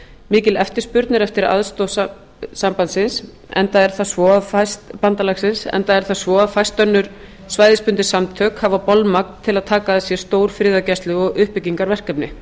mikil eftirspurn er eftir aðstoð bandalagsins enda er það svo að fæst önnur svæðisbundin samtök hafa bolmagn til að taka að sér stór friðargæslu og uppbyggingarverkefni